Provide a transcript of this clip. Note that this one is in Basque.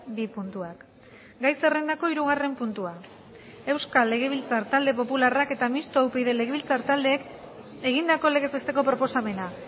bi puntuak gai zerrendako hirugarren puntua euskal legebiltzar talde popularrak eta mistoa upyd legebiltzar taldeek egindako legez besteko proposamena